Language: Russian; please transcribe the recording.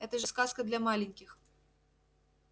это же сказка для маленьких